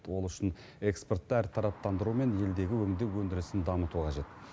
ол үшін экспортты әртараптандыру мен елдегі өңдеу өндірісін дамыту қажет